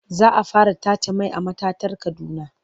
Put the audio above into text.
Za a fara tace mai a matatar Kaduna.